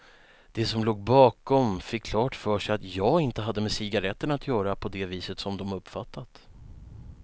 De som låg bakom fick klart för sig att jag inte hade med cigaretterna att göra på det viset som de uppfattat.